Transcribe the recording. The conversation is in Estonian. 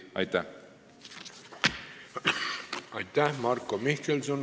Aitäh, Marko Mihkelson!